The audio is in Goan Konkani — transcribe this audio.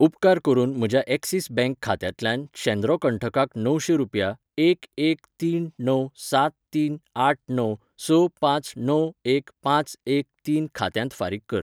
उपकार करून म्हज्या ऍक्सिस बॅंक खात्यांतल्यान शेद्रो कंठकाक णवशे रुपया एक एक तीन णव सात तीन आठ णव स पांच णव एक पांच एक तीन खात्यांत फारीक कर.